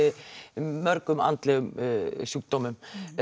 mörgum andlegum sjúkdómum